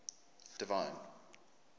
divine